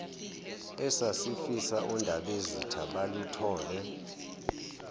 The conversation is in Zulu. esasifisa ondabezitha baluthole